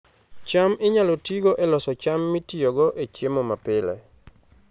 cham inyalo tigo e loso cham mitiyogo e chiemo mapile